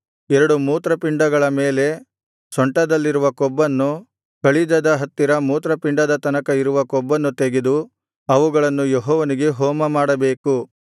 ಎರಡು ಮೂತ್ರಪಿಂಡಗಳ ಮೇಲೆ ಸೊಂಟದಲ್ಲಿರುವ ಕೊಬ್ಬನ್ನು ಕಳಿಜದ ಹತ್ತಿರ ಮೂತ್ರಪಿಂಡದ ತನಕ ಇರುವ ಕೊಬ್ಬನ್ನು ತೆಗೆದು ಅವುಗಳನ್ನು ಯೆಹೋವನಿಗೆ ಹೋಮಮಾಡಬೇಕು